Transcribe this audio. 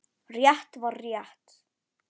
Rétt var rétt.